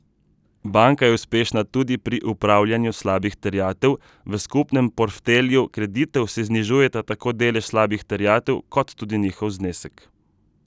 Banka je uspešna tudi pri upravljanju slabih terjatev, v skupnem porftelju kreditov se znižujeta tako delež slabih terjatev kot tudi njihov znesek.